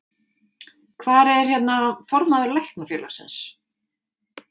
Hvar er, hérna, formaður Læknafélagsins?